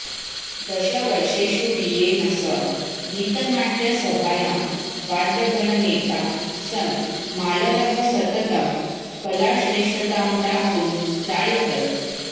दश वर्षेषु वियेनसङ्गीतनाट्यसभायां वाद्यगणनेता सन् मालरः सततं कलाश्रेष्ठतां प्राप्तुं प्रायतत